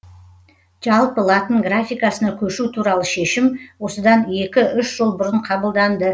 жалпы латын графикасына көшу туралы шешім осыдан екі үш жыл бұрын қабылданды